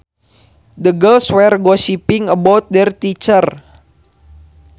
The girls were gossiping about their teachers